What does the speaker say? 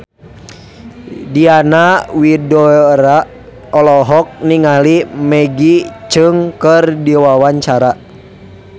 Diana Widoera olohok ningali Maggie Cheung keur diwawancara